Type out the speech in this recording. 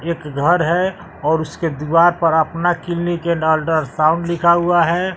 एक घर है और उसके दीवार पर अपना एंड अल्ट्रासाउंड लिखा हुआ है।